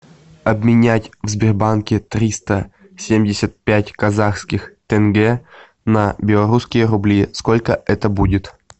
обменять в сбербанке триста семьдесят пять казахских тенге на белорусские рубли сколько это будет